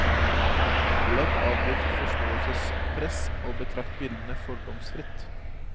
Legg av ditt forståelsespress og betrakt bildene fordomsfritt.